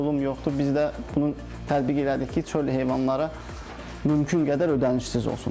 Biz də bunu tətbiq elədik ki, çöl heyvanlara mümkün qədər ödənişsiz olsun.